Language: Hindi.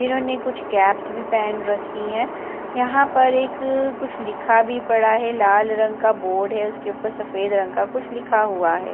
इन्होंने कुछ कैप्स भी पहन रखी है यहां पर एक कुछ लिखा भी पड़ा है लाल रंग का बोर्ड है उसके ऊपर सफेद रंग का कुछ लिखा हुआ है।